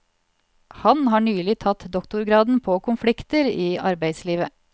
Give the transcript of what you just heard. Han har nylig tatt doktorgraden på konflikter i arbeidslivet.